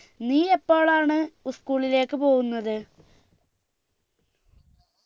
നീ എപ്പോളാണ് school ലേക്ക് പോകുന്നത്